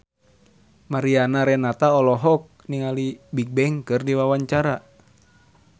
Mariana Renata olohok ningali Bigbang keur diwawancara